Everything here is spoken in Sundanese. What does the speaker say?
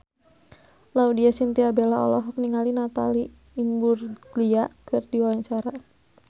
Laudya Chintya Bella olohok ningali Natalie Imbruglia keur diwawancara